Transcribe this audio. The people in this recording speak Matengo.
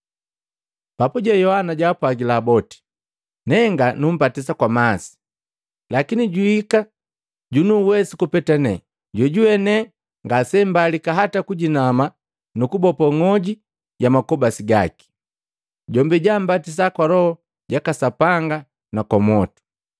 Papuje Yohana jaapwagila boti, “Nenga numbatisa kwa masi, lakini juhika junuwesu kupeta nenga, jojuwe ne ngasembalika hata kujinama kummbopo ng'oji ya makobasi gake. Jombi jaambatisa kwa Loho jaka Sapanga na kwa mwotu.